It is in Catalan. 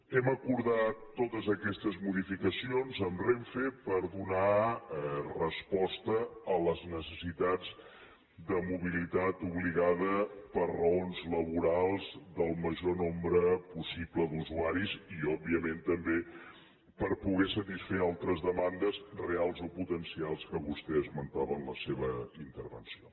hem acordat totes aquestes modificacions amb renfe per donar resposta a les necessitats de mobilitat obligada per raons laborals del major nombre possible d’usuaris i òbviament també per poder satisfer altres demandes reals o potencials que vostè esmentava en la seva intervenció